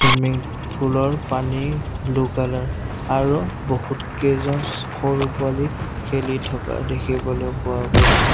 Swimming pool ৰ পানী blue colour আৰু বহু কেইজনছ সৰু পোৱালী খেলি থকা দেখিবলৈ পোৱা গৈছে।